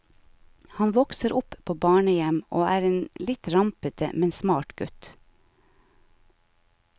Han vokser opp på barnehjem, og er en litt rampete, men smart gutt.